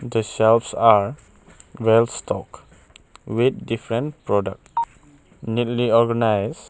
The shelves are well stock with different product neatly organised.